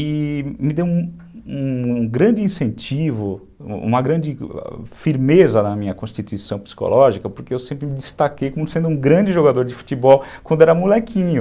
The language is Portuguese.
E... me deu um grande incentivo, uma grande firmeza na minha constituição psicológica, porque eu sempre me destaquei como sendo um grande jogador de futebol quando era molequinho.